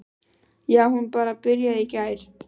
Já, hún bara byrjaði í gær.